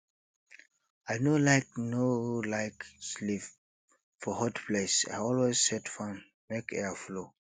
i no like no like sleep for hot place i always set fan make air flow